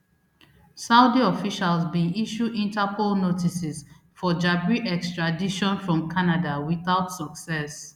saudi officials bin issue interpol notices for jabri extradition from canada without success